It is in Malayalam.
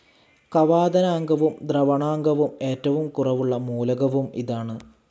കവാദനാങ്കവും ദ്രവണാങ്കവും ഏറ്റവും കുറവുള്ള മൂലകവും ഇതാണ്.